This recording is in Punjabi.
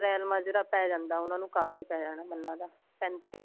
ਰਹਿਣ ਮਾਜਰਾ ਪੈ ਜਾਂਦਾ ਉਹਨਾ ਨੂੰ ਕਾਫੀ ਪੈ ਜਾਣਾ ਮੈਨੂੰ ਲਗਦਾ ਪੈਂਤੀ